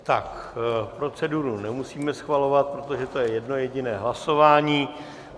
Tak proceduru nemusíme schvalovat, protože to je jedno jediné hlasování.